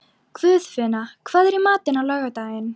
Guðfinna, hvað er í matinn á laugardaginn?